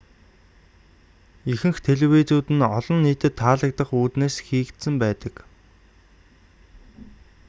ихэнх телевизүүд нь олон нийтэд таалагдах үүднээс хийгдсэн байдаг